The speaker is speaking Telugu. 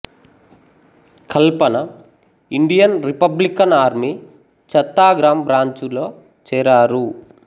కల్పన Indian republican army Chattagram branch లో చేరారు